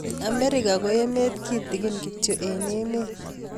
Amerika Koo emeet kitgin kityo eng emeet